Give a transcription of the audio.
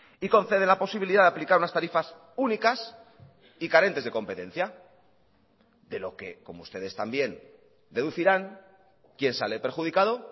y concede la posibilidad de aplicar unas tarifas únicas y carentes de competencia de lo que como ustedes también deducirán quién sale perjudicado